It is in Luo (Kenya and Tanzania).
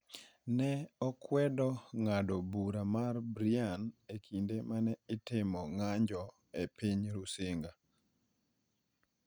ne okwedo ng’ado bura mar Brian e kinde ma ne itimo ng’anjo e piny Rusinga.